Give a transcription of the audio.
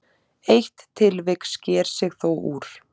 Eitt tilvik sker sig þó úr.